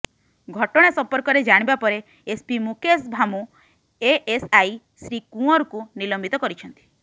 ଘଟଣା ସମ୍ପର୍କରେ ଜାଣିବା ପରେ ଏସ୍ପି ମୁକେଶ ଭାମୁ ଏଏସ୍ଆଇ ଶ୍ରୀ କୁଅଁରଙ୍କୁ ନିଲମ୍ବିତ କରିଛନ୍ତି